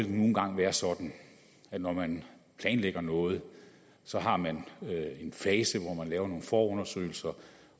engang være sådan at når man planlægger noget så har man en fase hvor man laver nogle forundersøgelser